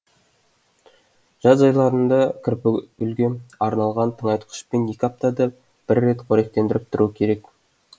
жаз айларында кірпігүлге арналған тыңайтқышпен екі аптада бір рет қоректендіріп тұру керек